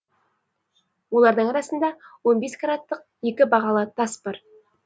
олардың арасында он бес караттық екі бағалы тас бар